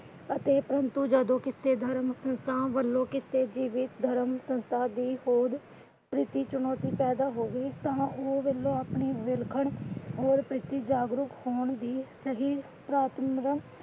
ਅਤੇ ਪ੍ਰੰਤੂ ਜਦੋ ਕਿਸੇ ਧਰਮ ਸੰਸਥਾਂ ਵਲੋਂ ਕਿਸੇ ਜੀਵਤ ਧਰਮ ਸੰਸਥਾਂ ਦੀ ਹੋਰ ਪ੍ਰਤੀ ਚੁਣੌਤੀ ਪੈਦਾ ਹੋਵੇ ਤਾਂ ਉਹ ਵਲੋਂ ਆਪਣੇ ਪ੍ਰਤੀ ਜਾਗਰੂਕ ਹੋਣ ਦੀ ਸਹੀ ਪ੍ਰਾਥਮਿਕਤਾ